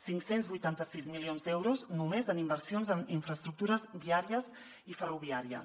cinc cents i vuitanta sis milions d’euros només en inversions en infraestructures viàries i ferroviàries